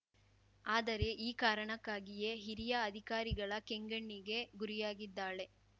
ಆದರೆ ಈ ಕಾರಣಕ್ಕಾಗಿಯೇ ಹಿರಿಯ ಅಧಿಕಾರಿಗಳ ಕೆಂಗಣ್ಣಿಗೆ ಗುರಿಯಾಗಿದ್ದಾಳೆ